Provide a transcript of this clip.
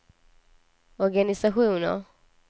organisationer